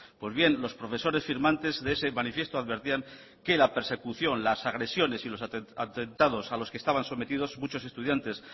pues bien los profesores firmantes de ese manifiesto advertían que la persecución las agresiones y los atentados a los que estaban sometidos muchos estudiantes